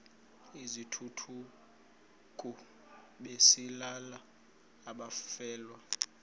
izithukuthuku besalela abafelwa